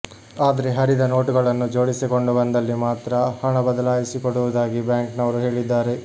ಆದ್ರೆ ಹರಿದ ನೋಟುಗಳನ್ನು ಜೋಡಿಸಿಕೊಂಡು ಬಂದಲ್ಲಿ ಮಾತ್ರ ಹಣ ಬದಲಾಯಿಸಿಕೊಡುವುದಾಗಿ ಬ್ಯಾಂಕ್ ನವರು ಹೇಳಿದ್ದಾರೆ